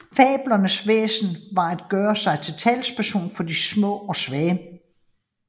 Fabelens væsen var at gøre sig til talsperson for de små og svage